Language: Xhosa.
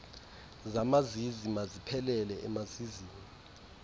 zamazizi maziphelele emazizini